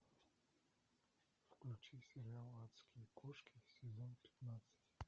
включи сериал адские кошки сезон пятнадцать